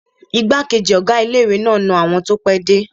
Igbákejì ọ̀gá ilé-ìwé náà n na àwọn tó pẹ́ dé